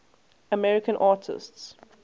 american artists